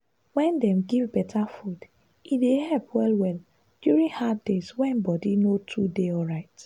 wen dem give better food e dey help well-well during hard days wey body no too dey alright.